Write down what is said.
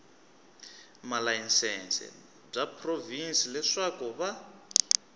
malayisense bya provhinsi leswaku va